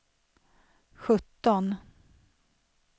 sjutton